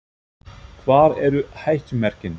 Hvar eru hættumerkin?